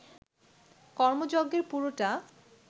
কর্মযজ্ঞের পুরোটা